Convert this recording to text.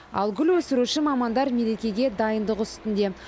ал гүл өсіруші мамандар мерекеге дайындық үстінде